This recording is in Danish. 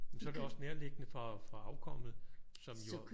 Men så er det også nærliggende for for afkommet som jo